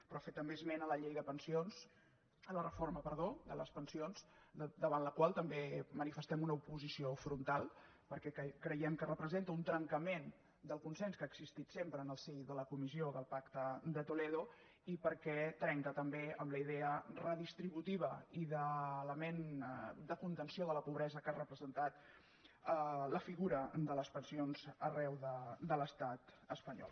però fer també esment de la reforma de les pensions davant la qual també manifestem una oposició frontal perquè creiem que representa un trencament del consens que ha existit sempre en el si de la comissió del pacte de toledo i perquè trenca també amb la idea redistributiva i d’element de contenció de la pobresa que ha representat la figura de les pensions arreu de l’estat espanyol